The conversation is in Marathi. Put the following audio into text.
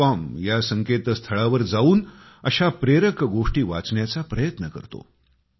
com ह्या संकेतस्थळावर जाऊन अशा प्रेरक गोष्टी वाचण्याचा प्रयत्न करतो